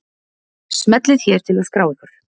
Smellið hér til að skrá ykkur.